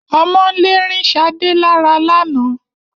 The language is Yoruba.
Ọmọ'ńlè rin Shádẹ̀ lárà lána.